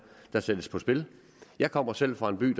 der sættes på spil jeg kommer selv fra en by i